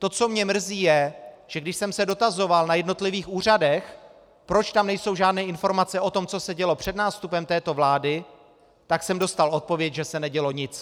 To, co mě mrzí, je, že když jsem se dotazoval na jednotlivých úřadech, proč tam nejsou žádné informace o tom, co se dělo před nástupem této vlády, tak jsem dostal odpověď, že se nedělo nic.